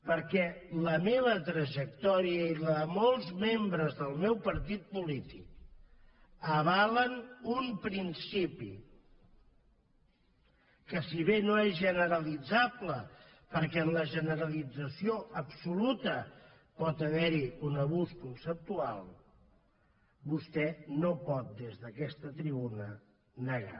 perquè la meva trajectòria i la de molts membres del meu partit polític avalen un principi que si bé no és generalitzable perquè en la generalització absoluta pot haver hi un abús conceptual vostè no pot des d’aquesta tribuna negar